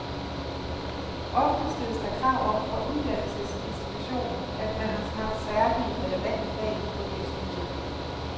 Ofte stilles der krav om fra uddannelsesinstitutionen, at man har haft særlig relevante fag på et vist niveau.